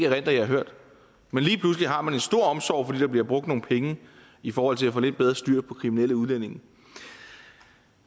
at jeg har hørt men lige pludselig har man en stor omsorg fordi der bliver brugt nogle penge i forhold til at få lidt bedre styr på kriminelle udlændinge